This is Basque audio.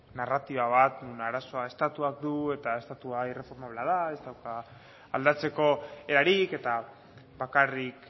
narratiba bat non arazoak estatuak du eta estatua irreformablea da ez dauka aldatzeko erarik eta bakarrik